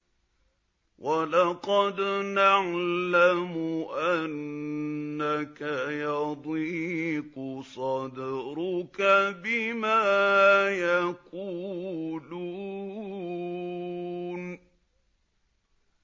وَلَقَدْ نَعْلَمُ أَنَّكَ يَضِيقُ صَدْرُكَ بِمَا يَقُولُونَ